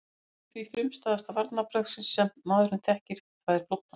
Það grípur því til frumstæðasta varnarviðbragðs sem maðurinn þekkir, það er flóttans.